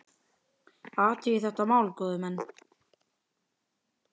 Athugið þetta mál, góðir menn!